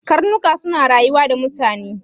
Karnuka suna rayuwa da mutane.